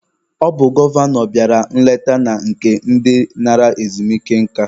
Ọ bụ gọvanọ bịara nleta na nke ndị nara ezumike nka.